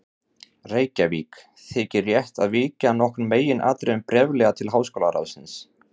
Reykjavík, þykir rétt að víkja að nokkrum meginatriðum bréflega til háskólaráðsins.